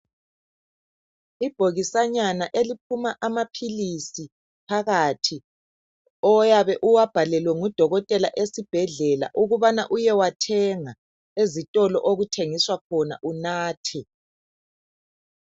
Ibhokisanyana eliphuma amaphilisi phakathi oyabe uwabhalelwe ngudokotela esibhedlela ukubana uyewathenga ezitolo okuthengiswa khona unathe.